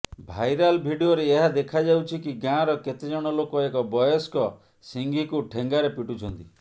viral ଭିଡିଓରେ ଏହା ଦେଖାଯାଉଛି କି ଗାଁର କେତେଜଣ ଲୋକ ଏକ ବୟସ୍କ ସିଂହୀକୁ ଠେଙ୍ଗାରେ ପିଟୁଛନ୍ତି